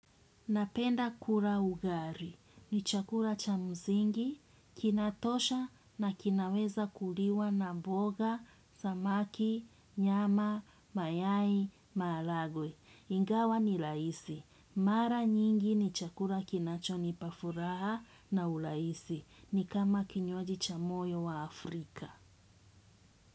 Napenda kula ugali. Ni chakula cha msingi, kinatosha na kinaweza kuliwa na mboga, samaki, nyama, mayai, maharagwe. Ingawa ni lahisi. Mara nyingi ni chakula kinachonipa furaha na urahisi. Ni kama kinywaji cha moyo wa Afrika.